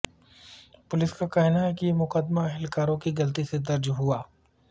police کا کہنا ہے کہ یہ مقدمہ اہلکاروں کی غلطی سے درج ہوا